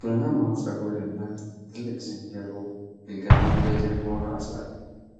ቡናማ ፀጉር ያላት ትልቅ ዝንጀሮ ግልገሏን በጀርባዋ አዝላለች።